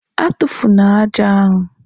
A tụfụna ájá ahu!